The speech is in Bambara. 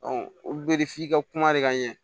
olu be de f'i ka kuma de ka ɲɛ